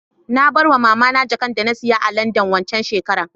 Nabarwa mamana jakanda nasiya a landan wanxan shekarar